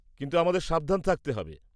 কিন্তু আমাদের সাবধান থাকতে হবে।